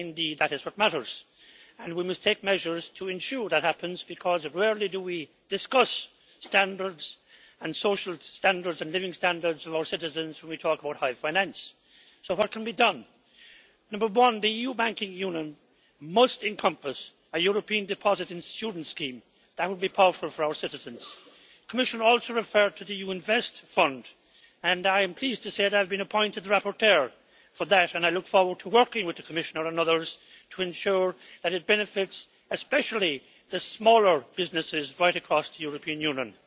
Indeed, that is what matters, and we must take measures to ensure that happens, because rarely do we discuss the social and living standards of our citizens when we talk about high finance. So what can be done? Number one the EU Banking Union must encompass a European deposit insurance scheme that would be powerful for our citizens. The Commissioner also referred to the EU Invest Fund, and I am pleased to say that I have been appointed rapporteur for that, and I look forward to working with the Commissioner and others to ensure that it benefits especially the smaller businesses right across the European Union.